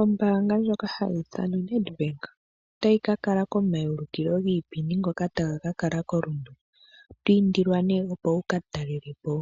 Ombaanga ndjoka hayi ithanwa Nedbank otayi ka kala komaulukilo ngoka taga ka kala koRundu. Oto indilwa nduno opo wu ka talele po